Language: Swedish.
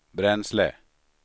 bränsle